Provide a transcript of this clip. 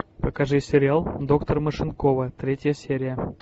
покажи сериал доктор машинкова третья серия